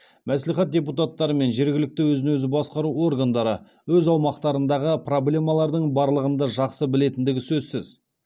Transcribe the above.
мәслихат депутаттары мен жергілікті өзін өзі басқару органдары өз аумақтарындағы проблемалардың барлығын да жақсы білетіндігі сөзсіз